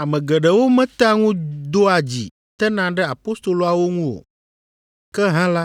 Ame geɖewo metea ŋu doa dzi tena ɖe apostoloawo ŋu o, ke hã la,